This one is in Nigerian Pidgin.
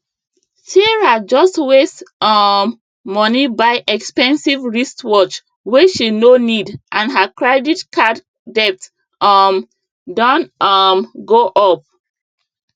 sarah just waste um money buy expensive wristwatch wey she no need and her credit card debt um don um go up